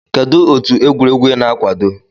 Kedụ otu egwuregwu I na-akwado?